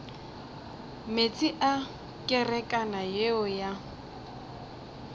meetse a kerekana yeo ya